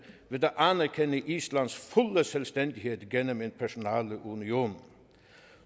ved at anerkende islands fulde selvstændighed gennem en personalunion